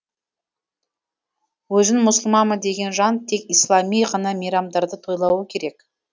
өзін мұсылманмын деген жан тек ислами ғана мейрамдарды тойлауы керек